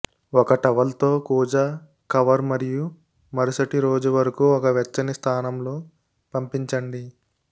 ఒక టవల్ తో కూజా కవర్ మరియు మరుసటి రోజు వరకు ఒక వెచ్చని స్థానంలో పంపించండి